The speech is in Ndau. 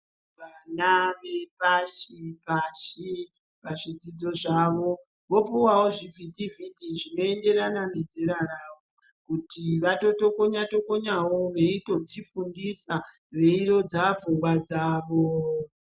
Vana vepashi pashi pazvidzidzo zvavo vopuwawo zvivhiti vhiti zvinoenderana nezera ravo kuti vatotokonya tokonyawo veitodzifundisa veirodza pfungwa dzavo.